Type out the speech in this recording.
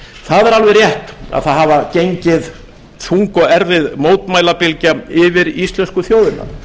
það er alveg rétt að það hafur gengið þung og erfið mótmælabylgja yfir íslensku þjóðina